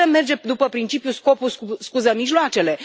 Nu putem merge după principiul scopul scuză mijloacele.